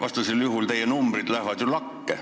Siis lähevad teie numbrid ju lakke.